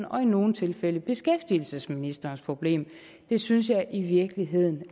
og i nogle tilfælde beskæftigelsesministerens problem det synes jeg i virkeligheden